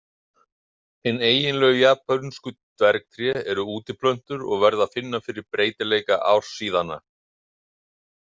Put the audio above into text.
Hin eiginlegu japönsku dvergtré eru útiplöntur og verða að finna fyrir breytileika ársíðanna.